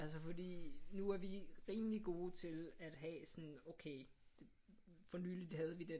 Altså fordi nu er vi rimelig gode til at have sådan okay for nyligt havde vi den